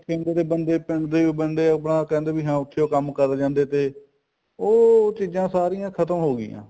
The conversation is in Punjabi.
ਰੱਖੇ ਹੁੰਦੇ ਤੀ ਬੰਦੇ ਹਾਂ ਬੰਦੇ ਉੱਥੀ ਓ ਕੰਮ ਕਰੀ ਜਾਂਦੇ ਤੇ ਉਹ ਚੀਜ਼ਾਂ ਸਾਰੀਆਂ ਖਤਮ ਹੋਗੀਆਂ